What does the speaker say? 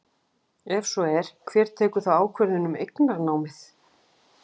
Ef svo er, hver tekur þá ákvörðun um eignarnámið?